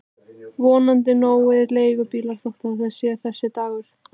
Vonandi nógir leigubílar þótt það sé þessi dagur.